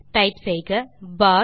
type செய்க பார்